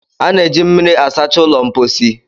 a na-eji mmiri asacha ụlọ mposi